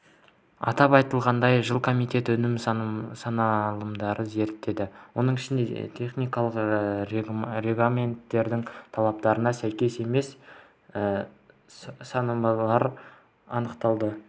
атап айтылғандай жылы комитет өнім сынамаларын зерттеді оның ішінде техникалық регламенттердің талаптарына сәйкес емес сынамалар анықталды